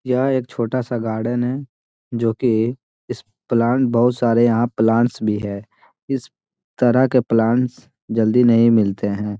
यह एक छोटा-सा गार्डन है जो कि इस प्लांट बोहुत सारे यहाँ प्लांट्स भी है। इस तरह के प्लांट्स जल्दी नहीं मिलते हैं।